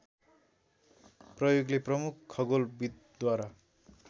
प्रयोगले प्रमुख खगोलविदद्वारा